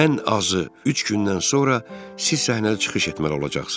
Ən azı üç gündən sonra siz səhnədə çıxış etməli olacaqsınız.